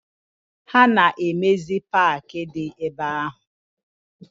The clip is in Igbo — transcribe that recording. Ha na emezi park di ebe ahu?